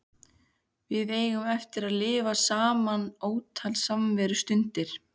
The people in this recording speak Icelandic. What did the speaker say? Við eigum eftir að lifa saman ótal samverustundir.